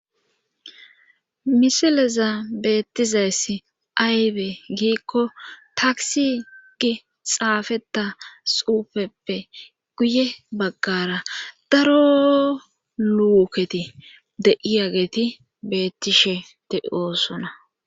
Misileza beettizayssi aywe giikko taaksi gi xaafeta xuufeppe guye baggara daro luuketi deiyageti beettishete oosona.